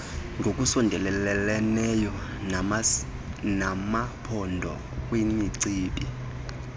ngokusondeleleneyo namaphondo kwimicibi